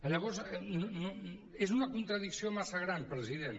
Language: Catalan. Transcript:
llavors és una contradicció massa gran president